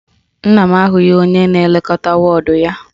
Nna m ahụghị onye na-elekọta wọọdụ ya